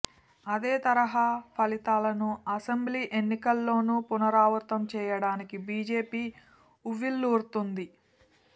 అదే తరహా ఫలితాలను అసెంబ్లీ ఎన్నికల్లోనూ పునరావృతం చేయడానికి బీజేపీ ఉవ్విళ్లూరుతోంది